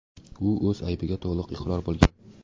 U o‘z aybiga to‘liq iqror bo‘lgan.